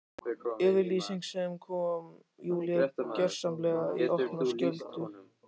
Yfirlýsing sem kom Júlíu gjörsamlega í opna skjöldu.